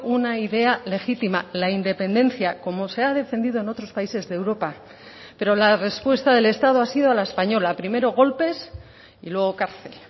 una idea legítima la independencia como se ha defendido en otros países de europa pero la respuesta del estado ha sido la española primero golpes y luego cárcel